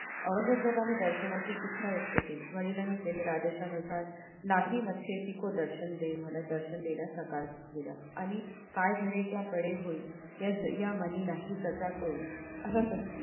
औरंगजेबाने दर्शनाची इच्छा व्यक्त केली वडिलांनी केलेल्या आदेशा नुसार दर्शन देण्यास नकार दिला आणि काय घडे किंवा पडे होई या म्हणे नाही प्रचार होय असा